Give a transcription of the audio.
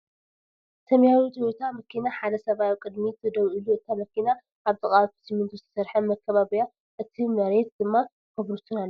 ሰማያዊ ቴዮታ መኪና ሓደ ሰብኣይ ኣብ ቅድሚት ደዉ ኢሉ እታ መኪና ኣብ ጥቃ ብስሚንቶ ዝተሰርሐ መካበቢያ እቲ መርየት ድማ ኮብልስቶን ኣለዉ።